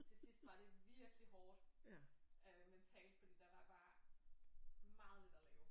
Til sidst var det virkelig hårdt øh mentalt fordi der var bare meget lidt at lave